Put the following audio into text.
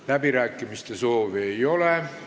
Läbirääkimiste soovi ei ole.